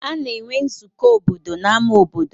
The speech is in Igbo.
A na-enwe nzukọ obodo n'ama obodo.